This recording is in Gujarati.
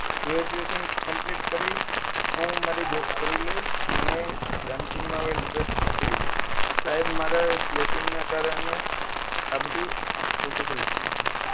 graduation complete કરી હું મારી Job કરી લઈશ મને dancing માં હવે interest નથી તો સાહેબ મારા slapping ના કારણે આ બધું ઓછું કઈ થયું છે